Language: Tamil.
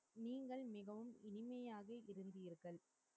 நீங்கள் மிகவும் இனிமையாக இருந்தீர்கள்